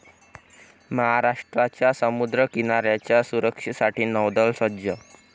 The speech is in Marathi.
महाराष्ट्राच्या समुद्रकिनाऱ्याच्या सुरक्षेसाठी नौदल सज्ज'